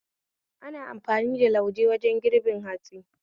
Ana amfani da lauje wajen girbin hatsi